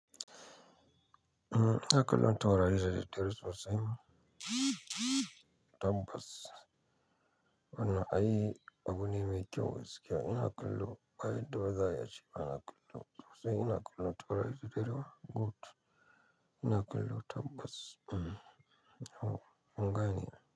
Ina kallon tautari da daddare sosai tabbas. Wannan ai abune mai kyau gaskiya. Ina kallo ba yadda ba za ai ace. Ina kallo. Sosai ina kallon taurari da daddare. Good. Ina kallo tambas. Mm. Oh. Kun gane.